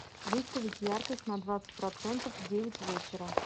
выставить яркость на двадцать процентов в девять вечера